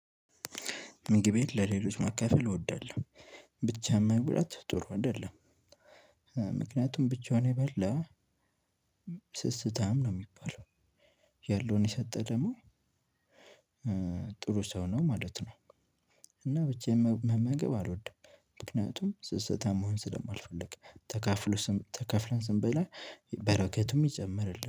ምግቤን ለሌሎች ማካፈል እወዳለሁ። ብቻ መብላት ጥሩ አይደለም። ምክንያቱም ብቻውን የበላ ስስታም ነው ሚባለው። ያለውን የሰጠ ደግሞ ጥሩ ሰው ነው ማለት ነው። እና ብቻ መመገብ አልወድም። ምክንያቱም ስስታም መሆን ስለማልፈልግ ተካፍሎ ተከፍለን ስንበላ በረከቱም ይጨምርልን